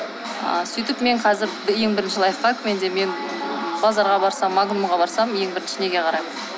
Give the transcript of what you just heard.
ы сөйтіп мен қазір ең бірінші лайфхак менде мен базарға барсам магнумға барсам ең бірінші неге қараймын